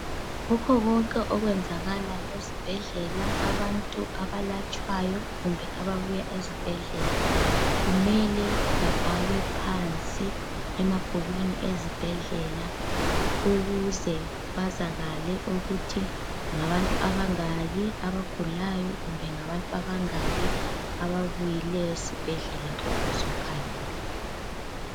Kukho konke okwenzakala esibhedlela abantu abalatshwayo kumbe ababuya ezibhedlela kumele bebhalwe phansi emabhukwini ezibhedlela ukuze kwazakale ukuthi ngabantu abangaki abagulayo kumbe ngabantu abangaki ababuyileyo esibhedlela ukuzo khangelwa.